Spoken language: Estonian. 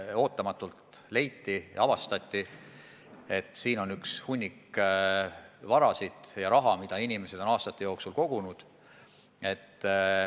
Ootamatult avastati, et siin on üks hunnik vara, hunnik raha, mida inimesed on aastate jooksul kogunud.